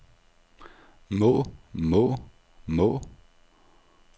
må må må